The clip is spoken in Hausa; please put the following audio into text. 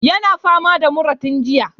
Yana fama da mura tun jiya.